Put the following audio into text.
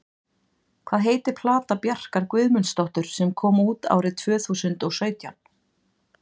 Hvað heitir plata Bjarkar Guðmundsdóttur sem kom út árið tvöþúsund og sautján?